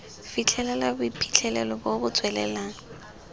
fitlhelela boiphitlhelelo bo bo tswelelang